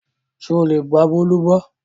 Ṣé o lè gba Bólú gbọ́?